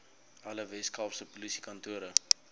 alle weskaapse polisiekantore